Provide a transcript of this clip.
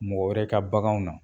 Mɔgɔ wɛrɛ ka baganw na